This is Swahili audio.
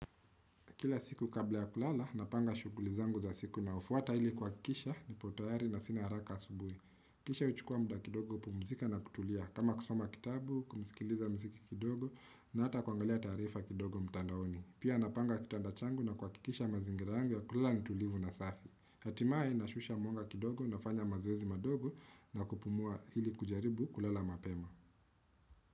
Kila siku kabla ya kulala, napanga shuguli zangu za siku inayofuata ili kuwakikisha nipo tayari na sina haraka asubui. Kisha uchukua muda kidogo pumzika na kutulia. Kama kusoma kitabu, kumsikiliza mziki kidogo na hata kuangalia taarifa kidogo mtandaoni. Pia napanga kitanda changu na kuwakikisha mazingira yangu ya kulala ni tulivu na safi. Hatimai nashusha mwonga kidogo na lfanya mazoezi madogo na kupumua hili kujaribu kulala mapema.